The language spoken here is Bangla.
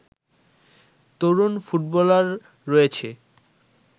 তরুণ ফুটবলার রয়েছে